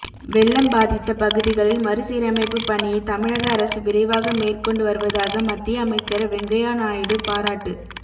வெள்ளம் பாதித்த பகுதிகளில் மறுசீரமைப்பு பணியை தமிழக அரசு விரைவாக மேற்கொண்டு வருவதாக மத்திய அமைச்சர் வெங்கையா நாயுடு பாராட்டு